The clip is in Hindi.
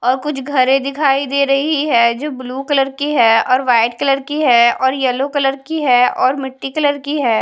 और कुछ घरें दिखाई दे रही है जो ब्लू कलर की है और वाइट कलर की है और येल्लो कलर की है और मिट्टी कलर की है।